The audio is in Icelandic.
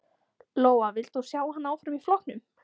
Lóa: Vilt þú sjá hann áfram í flokknum?